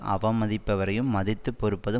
அவமதிப்பவரையும் மதித்து பொறுப்பது